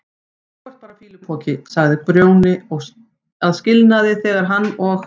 Þú ert bara fýlupoki, sagði Grjóni að skilnaði þegar hann og